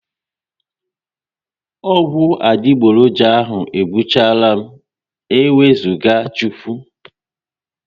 Ọgwụ adigboroja ahụ egbuchalam n'ewuzaga Chukwu